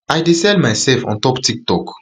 i dey sell myself on top tiktok